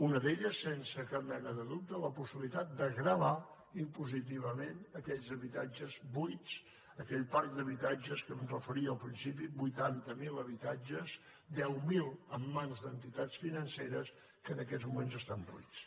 una d’elles sense cap mena de dubte la possibilitat de gravar impositivament aquells habitatges buits aquell parc d’habitatge a què em referia al principi vuitanta mil habitatges deu mil en mans d’entitats financeres que en aquests moments estan buits